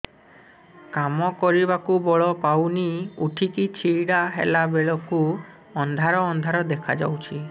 କାମ କରିବାକୁ ବଳ ପାଉନି ଉଠିକି ଛିଡା ହେଲା ବେଳକୁ ଅନ୍ଧାର ଅନ୍ଧାର ଦେଖା ଯାଉଛି